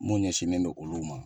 Mun ɲɛsinnendon olu ma.